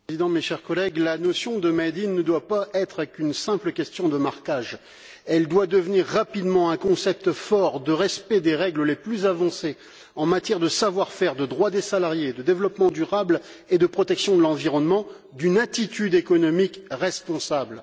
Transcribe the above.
Monsieur le Président, chers collègues, la notion de ne doit pas être une simple question de marquage. Elle doit devenir rapidement un concept fort de respect des règles les plus avancées en matière de savoir faire, de droits des salariés, de développement durable et de protection de l'environnement, et l'expression d'une attitude économique responsable.